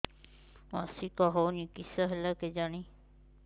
ମାସିକା ହଉନି କିଶ ହେଲା କେଜାଣି